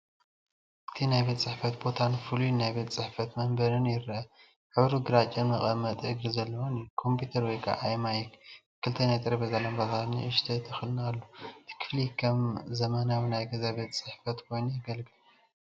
እቲ ናይ ቤት ጽሕፈት ቦታን ፍሉይ ናይ ቤት ጽሕፈት መንበርን ይገይረአ።፡ ሕብሩ ግራጭን መቐመጢ እግሪ ዘለዎን እዩ።፡ ኮምፒተር (ኣይማክ)፡ ክልተ ናይ ጠረጴዛ ላምባታትን ንእሽቶ ተኽልን ኣሎ። እቲ ክፍሊ ከም ዘመናዊ ናይ ገዛ ቤት ጽሕፈት ኮይኑ የገልግል።